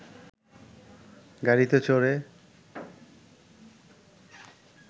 গাড়িতে চড়ে